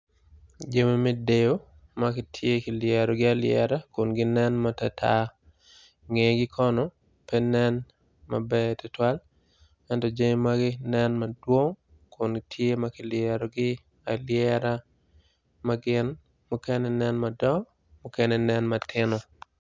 Jami me deyo magitye ki lyerogi alyera kun gi nen matar tar nge-gi kono pe nen maber tutwal ento jami magi nen madwong kun gitye ma kilyerogi alyera ma gin mukene nen madongo mukene nen matino.